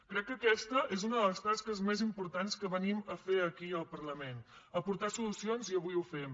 crec que aquesta és una de les tasques més importants que venim a fer aquí al parlament a aportar solucions i avui ho fem